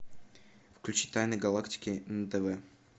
включи тайны галактики на тв